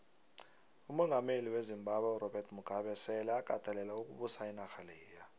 umongameli wezimbabwe urobert mugabe sele akatelele ukubusa inarha leya